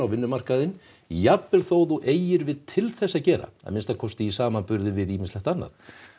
vinnumarkaðinn jafnvel þó þú eigir við til þess að gera að minnsta kosti í samanburði við ýmislegt annað